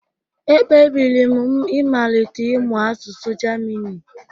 Ekpebiri m ịmalite ịmụ asụsụ Germini